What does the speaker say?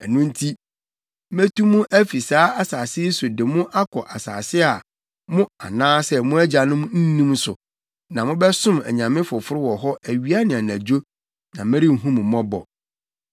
Ɛno nti, metu mo afi saa asase yi so de mo akɔ asase a, mo anaasɛ mo agyanom nnim so, na mobɛsom anyame foforo wɔ hɔ awia ne anadwo, na merenhu mo mmɔbɔ.’